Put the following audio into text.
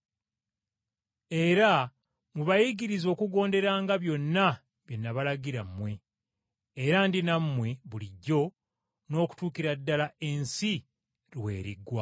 Era mubayigirize okugonderanga byonna bye nabalagira mmwe, era Ndi nammwe bulijjo n’okutuukira ddala ensi lw’eriggwaawo.”